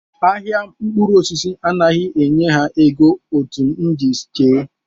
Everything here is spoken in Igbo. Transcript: Ahịa mkpụrụosisi anaghị enye ha ego etu m si chee